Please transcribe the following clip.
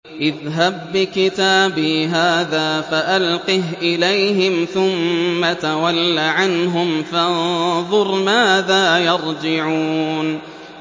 اذْهَب بِّكِتَابِي هَٰذَا فَأَلْقِهْ إِلَيْهِمْ ثُمَّ تَوَلَّ عَنْهُمْ فَانظُرْ مَاذَا يَرْجِعُونَ